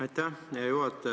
Aitäh, hea juhataja!